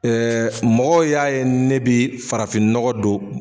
mɔgɔw y'a ye ne bɛ farafin nɔgɔ don.